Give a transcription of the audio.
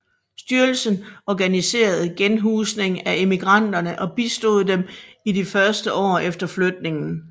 Styrelsen organiserede genhusning af emigranterne og bistod dem i de første år efter flytningen